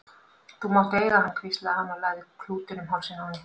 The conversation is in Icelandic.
Þú mátt eiga hann hvíslaði hann og lagði klútinn um hálsinn á henni.